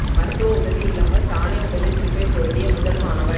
மருத்துவ உதவி இல்லாமல் தானே உடலில் சிப்பை பொருத்திய முதல் மாணவன்